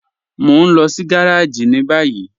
Mọ̀ n lọ sí gàràjì ni bayí